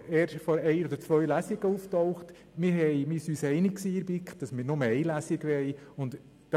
Es ging darum, wie unser Kanton vorwärts gebracht werden kann.